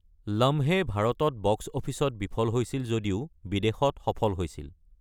লাম্হে খন ভাৰতত বক্স অফিচত বিফল হৈছিল যদিও কিন্তু বিদেশত সফল হৈছিল।